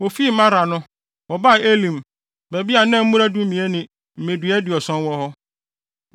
Wofii Mara no, wɔbaa Elim; baabi a na mmura dumien ne mmedua aduɔson wɔ hɔ.